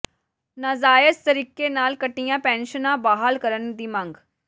ਨਾਜਾਇਜ਼ ਤਰੀਕੇ ਨਾਲ ਕੱਟੀਆਂ ਪੈਨਸ਼ਨਾਂ ਬਹਾਲ ਕਰਨ ਦੀ ਮੰਗ